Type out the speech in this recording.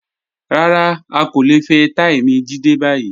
Rárá, a kò le fẹ̀ẹ́taímì Jídé bayí.